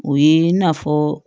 O ye i n'a fɔ